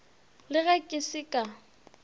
le ge ke se ka